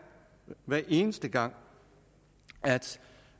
hver eneste gang at